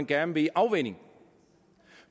gerne vil i afvænning